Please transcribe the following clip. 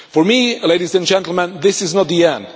For me, ladies and gentlemen, this is not the end